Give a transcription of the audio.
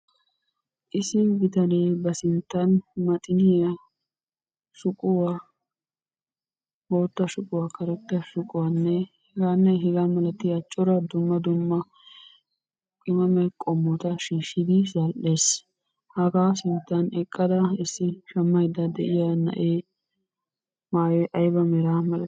Issi bitane ba sinttan maxiniya, shuquwa, bootta shuquwa, karetta shuquwanne hegaanne hegaa malatiya cora dumma dumma qimame qommota shiishshidi zal'es. Hagaa sinttan eqqada shammayidda de'iya na'e maayoy ayiba meraa malati?